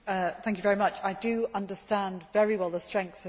I understand very well the strength of feeling.